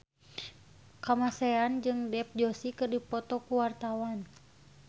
Kamasean jeung Dev Joshi keur dipoto ku wartawan